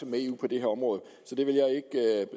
med eu på det område så det vil